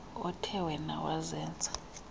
othe wena wazenza